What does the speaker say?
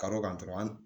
Kalo kan dɔrɔn an